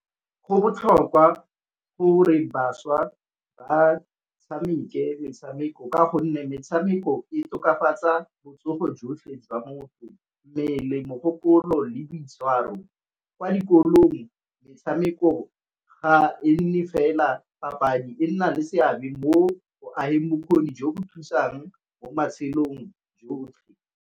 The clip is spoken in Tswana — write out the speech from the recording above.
Go botlhokwa gore bašwa ba tshameke metshameko ka gonne metshameko e tokafatsa botsogo jotlhe tswa motho, mmele, mogopolo, le boitshwaro. Kwa dikolong metshameko ga e nne fela papadi e nna le seabe mo go ageng bokgoni jo bo thusang mo matshelong jotlhe.